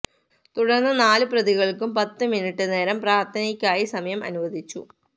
തുടര്ന്ന് നാല് പ്രതികള്ക്കും പത്ത് മിനിറ്റ് നേരം പ്രാര്ത്ഥനയ്ക്കായി സമയം അനുവദിച്ചു